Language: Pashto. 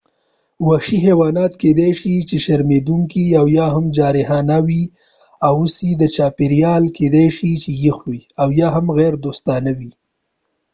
وحشي حیوانات کېدای شي چې شرمیدونکې او یا هم جارحانه و اوسی چاپیریال کېدای شي چې یخ وي او یا هم غیر دوستانه وي